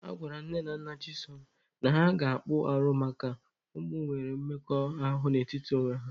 Agwara Nne na Nna Chisom na ha ga-akpụ arụ makana ụmụ nwere mmekọahụ n'etiti onwe ha.